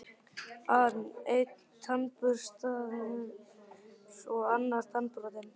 an: Einn tannburstaður og annar tannbrotinn.